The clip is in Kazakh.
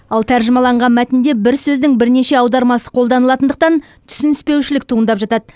ал тәржімаланған мәтінде бір сөздің бірнеше аудармасы қолданылатындықтан түсініспеушілік туындап жатады